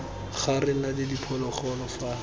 ga re na diphologolo fa